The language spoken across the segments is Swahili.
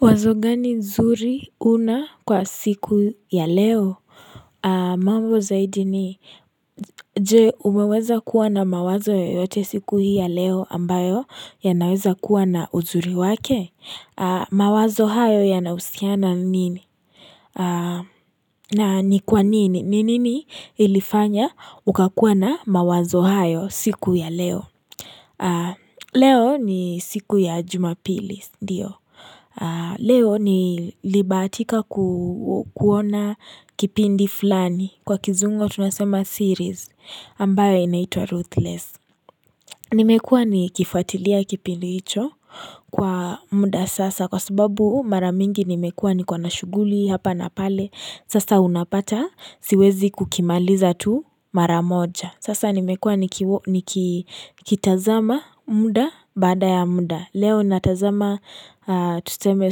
Wazo gani zuri una kwa siku ya leo? Mambo zaidi ni, je umeweza kuwa na mawazo yoyote siku hii ya leo ambayo yanaweza kuwa na uzuri wake? Mawazo hayo yanausiana nini? Na ni kwa nini? Ni nini ilifanya ukakuwa na mawazo hayo siku ya leo? Leo ni siku ya jumapili, ndiyo. Leo nilibahatika kuona kipindi fulani Kwa kizungu tunasema series ambayo inaitwa ruthless Nimekua nikifuatilia kipindi hicho Kwa muda sasa Kwa sababu mara mingi nimekua nikona na shughuli Hapa na pale Sasa unapata siwezi kukimaliza tu mara moja Sasa nimekua nikitazama muda baada ya muda Leo natazama tuseme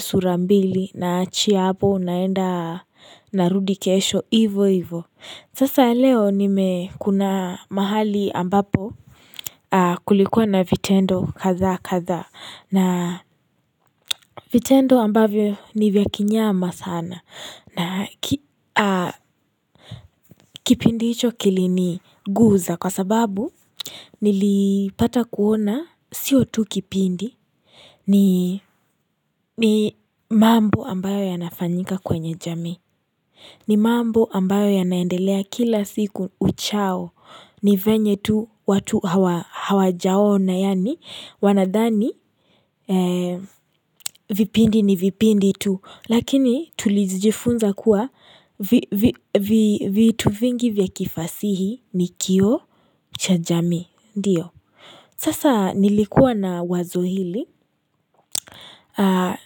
sura mbili naachia hapo naenda narudi kesho ivo ivo Sasa leo nime kuna mahali ambapo kulikuwa na vitendo kadhaa kadhaa na vitendo ambavyo ni vya kinyama sana na kipindi hicho kiliniguza kwa sababu nilipata kuona sio tu kipindi ni mambo ambayo yanafanyika kwenye jamii ni mambo ambayo yanaendelea kila siku uchao ni venye tu watu hawajaona Yaani wanadhani vipindi ni vipindi tu Lakini tulijifunza kuwa vitu vingi vya kifasihi ni kioo cha jamii Ndiyo Sasa nilikua na wazo hili Haa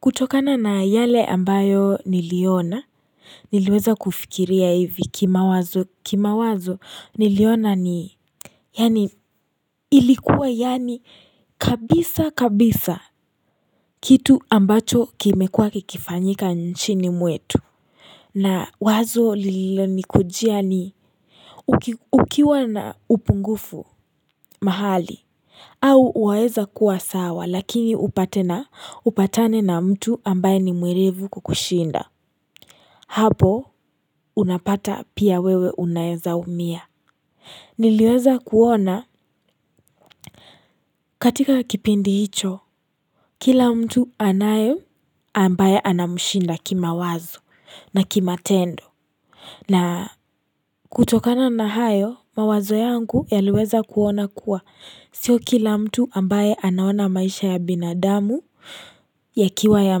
kutokana na yale ambayo niliona niliweza kufikiria hivi kimawazo kimawazo niliona ni yaani ilikuwa yaani kabisa kabisa kitu ambacho kimekua kikifanyika nchini mwetu na wazo lililonikujia ni ukiwa na upungufu mahali au waeza kuwa sawa lakini upatane na mtu ambaye ni mwerevu kukushinda Hapo unapata pia wewe unaeza umia Niliweza kuona katika kipindi hicho Kila mtu anayo ambaye anamshinda kimawazo na kimatendo na kutokana na hayo mawazo yangu yaliweza kuona kuwa Sio kila mtu ambaye anaona maisha ya binadamu yakiwa ya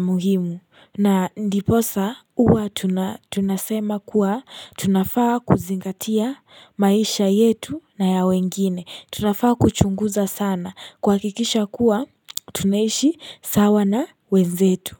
muhimu na ndiposa huwa tunasema kuwa tunafaa kuzingatia maisha yetu na ya wengine tunafaa kuchunguza sana kuhakikisha kuwa tunaishi sawa na wenzetu.